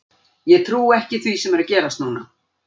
Ég trúi ekki því sem er að gerast núna.